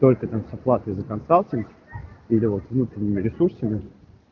только там с оплатой за консалтинг или вот внутренними ресурсами